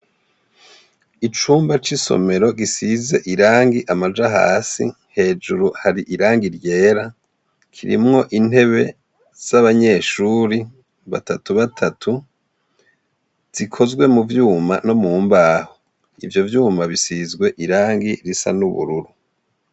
Icumba c' isomero gisiz' irang' amaja hasi, hejuru har'irangi ryera, kirimw' intebe z 'abanyeshure batatubatatu zikozwe muvyuma no mumbaho. Ivyovyuma bisizw' irangi risa n'ubururu.